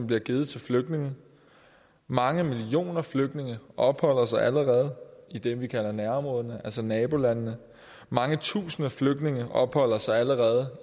bliver givet til flygtninge mange millioner flygtninge opholder sig allerede i det vi kalder nærområderne altså nabolandene mange tusinde flygtninge opholder sig allerede